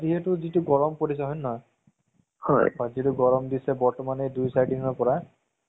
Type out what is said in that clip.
এইতো টো এই তাৰ দাইলেক টো কিমান views বনালে, কিমান video মানুহে